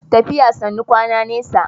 Tafiya sannu kwana nesa.